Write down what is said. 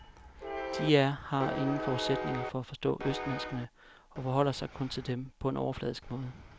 De er har ingen forudsætninger for at forstå østmenneskene og forholder sig kun til dem på en overfladisk måde.